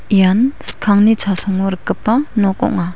ian skangni chasongo rikgipa nok ong·a.